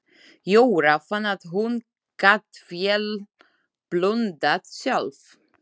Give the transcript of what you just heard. Jóra fann að hún gat vel blundað sjálf.